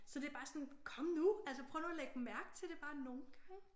Så det er bare sådan kom nu altså prøv nu at lægge mærke til det bare nogle gange